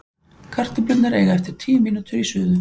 Kartöflurnar eiga eftir tíu mínútur í suðu.